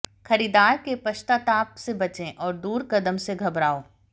खरीदार के पश्चाताप से बचें और दूर कदम से घबराओ